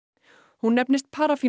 hún nefnist